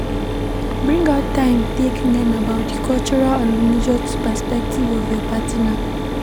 bring out time take learn about di cultural and religious perspective of your partner